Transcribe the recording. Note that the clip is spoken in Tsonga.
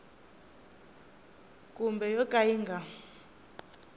kumbe yo ka yi nga